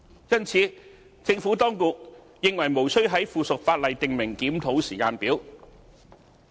因此，政府當局認為無須在附屬法例訂明檢討時間表。